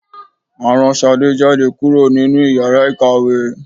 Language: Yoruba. à raǹ sàdé jadé kúrò ninú ìyára ikáwe